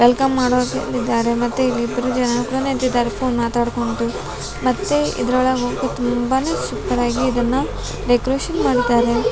Welcome ಮಾಡೋಕೆ ನಿಂತಿದ್ದಾರೆ ಮತ್ತೆ ಇಲ್ಲಿ ಇಬ್ರ ಜನ ಕೂಡ ನಿಂತಿದ್ದಾರೆ ಫೋನ್ ಮಾತಾಡ್ಕೊಂಡು ಮತ್ತೆ ಇದ್ರೊಳಗೆ ಹೋಗೋಕೆ ತುಂಬಾನೇ ಸೂಪರ್ ಆಗಿ ಇದನ್ನ ಡೆಕೋರೇಷನ್ ಮಾಡಿದ್ದಾರೆ .